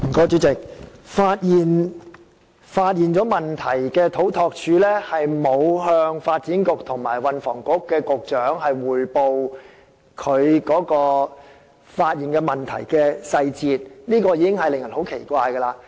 主席，發現問題的土木工程拓展署沒有向發展局局長及運輸及房屋局局長匯報問題的細節，令人覺得很奇怪。